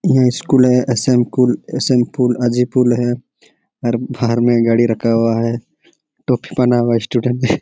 यहाँ स्कूल हैं ऐशन कुल ऐशन पुल अजी पुल हैं और बाहर में गाड़ी खड़ा हुआ हैं टोपी पहना हुआ स्टूडेंट --